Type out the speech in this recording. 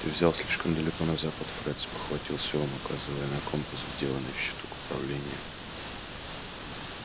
ты взял слишком далеко на запад фред спохватился он указывая на компас вделанный в щиток управления